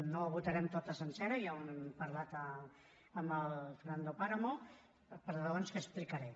no la votarem tota sencera ja ho hem parlat amb el fernando de páramo per raons que explicaré